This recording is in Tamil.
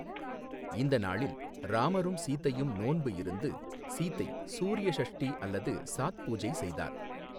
இந்த நாளில் ராமரும் சீதையும் நோன்பு இருந்து, சீதை சூரிய ஷஷ்டி அல்லது சாத் பூஜை செய்தார்.